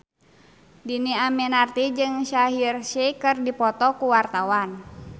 Dhini Aminarti jeung Shaheer Sheikh keur dipoto ku wartawan